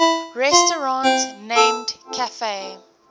restaurant named cafe